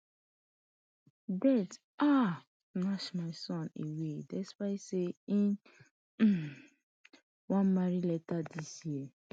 death um snatsh my son away despite say im um wan marry later dis year